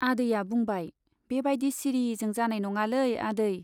आदैया बुंबाय, बे बाइदि सिरिजों जानाय नंङालै आदै।